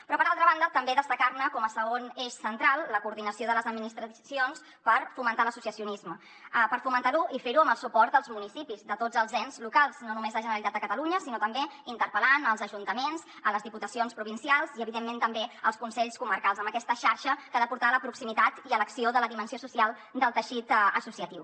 però per altra banda també destacar com a segon eix central la coordinació de les administracions per fomentar l’associacionisme per fomentar lo i fer ho amb el suport dels municipis de tots els ens locals no només la generalitat de catalunya sinó també interpel·lant els ajuntaments les diputacions provincials i evidentment també els consells comarcals amb aquesta xarxa que ha de portar a la proximitat i a l’acció de la dimensió social del teixit associatiu